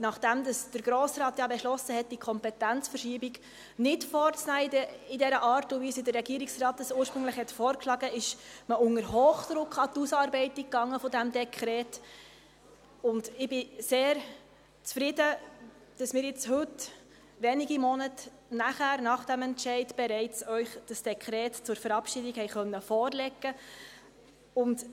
Nachdem der Grosse Rat ja beschlossen hatte, die Kompetenzverschiebung nicht in dieser Art und Weise vorzunehmen, wie sie der Regierungsrat ursprünglich vorgeschlagen hatte, ging man unter Hochdruck an die Ausarbeitung dieses Dekrets, und ich bin sehr zufrieden, dass wir Ihnen heute – wenige Monate nach diesem Entscheid – bereits das Dekret zur Verabschiedung vorlegen können.